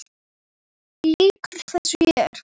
Lýkur þessu hér?